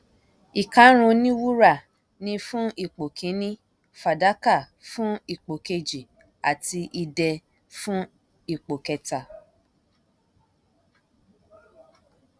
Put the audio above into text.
ìkárùn oní wúrà ni fún ipò kíni fàdákà fún ipò kejì ati idẹ fún ipò kẹta